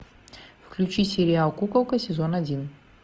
включи сериал куколка сезон один